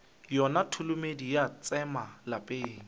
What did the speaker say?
yona tholomedi ya tsema lapeng